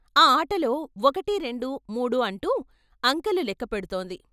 ఆ ఆటలో ఒకటీ రెండూ మూడూ అంటూ అంకెలు లెక్కపెడుతోంది.